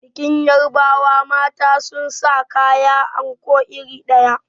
Bikin yarbawa mata suna sa kaya anko iri ɗaya.